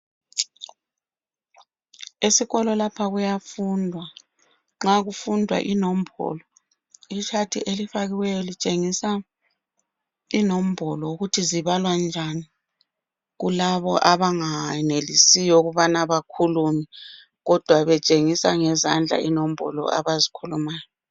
Esikolo lapha kuyafundwa. Nxa kufundwa inombolo ichart elifakiweyo litshengisa inombolo ukuthi zibalwa njani kulabo abangayenelisiyo ukubana bakhulume kodwa betshengisa ngezandla inombolo abazikhulumayo.